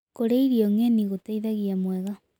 Kũrĩa irio ngenĩ gũteĩthagĩa mwega